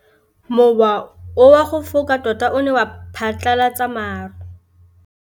Mowa o wa go foka tota o ne wa phatlalatsa maru.